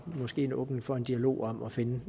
måske er en åbning for en dialog om at finde